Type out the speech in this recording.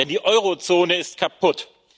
Denn die Eurozone ist kaputt.